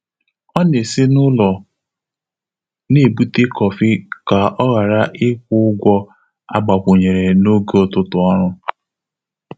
Ọ́ nà-ésí n’ụ́lọ́ nà-ébùté kọ́fị́ kà ọ́ ghàrà ị́kwụ́ ụ́gwọ́ ágbàkwùnyèrè n’ógè ụ́tụ́tụ́ ọ́rụ́.